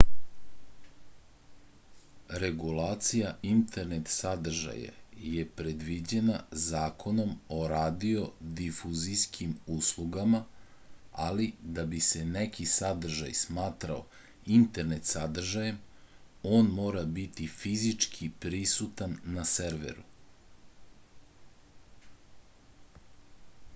regulacija internet sadržaja je predviđena zakonom o radiodifuzijskim uslugama ali da bi se neki sadržaj smatrao internet sadržajem on mora biti fizički prisutan na serveru